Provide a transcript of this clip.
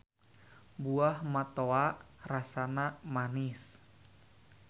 Buah matoa rasana manis.